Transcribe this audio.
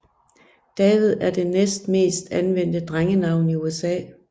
David er det næstmest anvendte drengenavn i USA